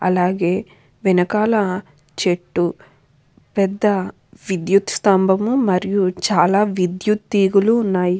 అలాగే వెనకాల విద్యుత్ స్థంబాలు విహయుత తీగలు ఉన్నాయి.